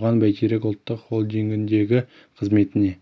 оған бәйтерек ұлттық холдингіндегі қызметіне